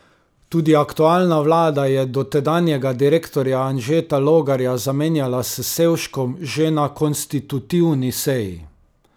Tudi aktualna vlada je dotedanjega direktorja Anžeta Logarja zamenjala s Sevškom že na konstitutivni seji.